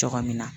Cogo min na